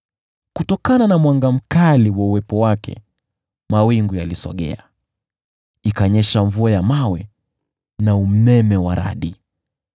Kutokana na mwanga wa uwepo wake mawingu yalisogea, ikanyesha mvua ya mawe na umeme wa radi.